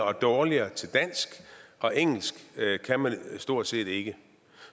og dårligere til dansk og engelsk kan man stort set ikke